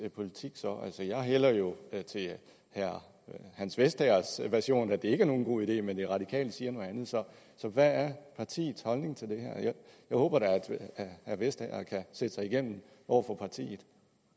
politik så altså jeg hælder jo til herre hans vestagers version nemlig at det ikke er nogen god idé men de radikale siger noget andet så hvad er partiets holdning til det her jeg håber da herre vestager kan sætte sig igennem over for partiet